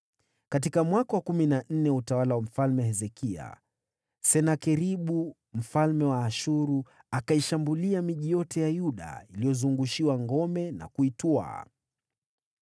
Katika mwaka wa kumi na nne wa utawala wa Mfalme Hezekia, Senakeribu mfalme wa Ashuru akaishambulia miji yote ya Yuda yenye ngome na kuiteka.